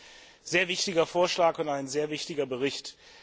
Das ist ein sehr wichtiger Vorschlag und ein sehr wichtiger Bericht.